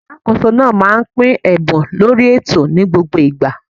Alákóso náà máà ń pín ẹ̀bùn lórí ètò ni gbogbo igba